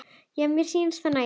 Já, mér sýnist það nægja!